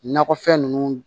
Nakɔfɛn ninnu